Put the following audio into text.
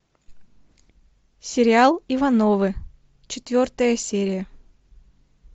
сериал ивановы четвертая серия